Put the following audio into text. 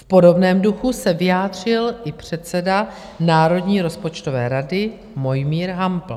V podobném duchu se vyjádřil i předseda Národní rozpočtové rady Mojmír Hampl.